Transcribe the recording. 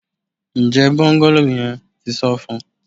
Njẹ bungalow yẹn ti san fun?